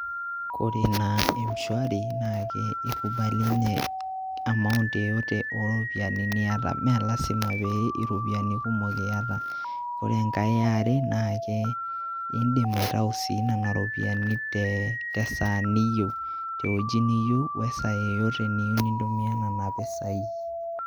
Kore naa m-swari naake ikubali nye amount yeyote o ropiani niyata mee lazima pee iropiani kumok iyata. Kore enkae e are naake indim aitau sii nena ropiani te saa, te wueji niyeu, we saa yeyote niyeu nintumia nena pisai.